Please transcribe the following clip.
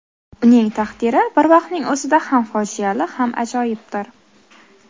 Uning taqdiri bir vaqtning o‘zida ham fojiali ham ajoyibdir.